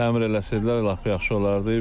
Təmir eləsəydilər lap yaxşı olardı.